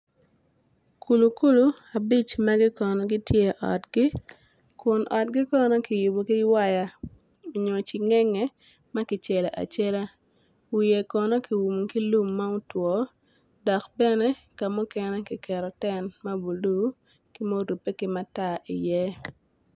Kulu kulu abic magi kono gitye i otgi kun otgi kono kiyubu ki waya onyo cingenge ma kicelo acela wiye kono ki umu ki lum ma otwo dok bene ka mukene ki ten ma bulu ki murupe ki matar iye